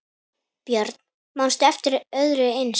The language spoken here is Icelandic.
Björn: Manstu eftir öðru eins?